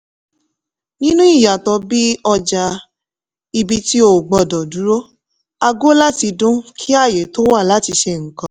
nínú ìyàtọ̀ bíi ọjà ibi tí o gbọ́dọ̀ dúró aago láti dún kí ààyè tó wà láti ṣe nǹkan.